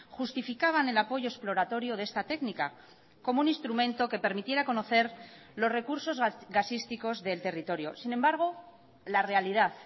justificaban el apoyo exploratorio de esta técnica como un instrumento que permitiera conocer los recursos gasísticos del territorio sin embargo la realidad